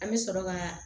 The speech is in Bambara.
An bɛ sɔrɔ ka